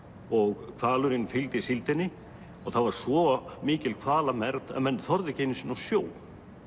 og hvalurinn fylgdi síldinni og það var svo mikil hvalamergð að menn þorðu ekki einu sinni á sjó